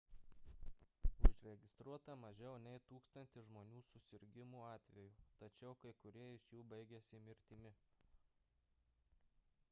užregistruota mažiau nei tūkstantis žmonių susirgimų atvejų tačiau kai kurie iš jų baigėsi mirtimi